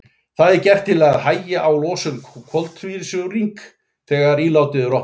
Það er gert til að hægja á losun koltvísýrings þegar ílátið er opnað.